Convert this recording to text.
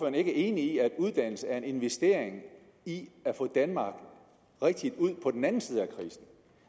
er enig i at uddannelse er en investering i at få danmark rigtigt ud på den anden side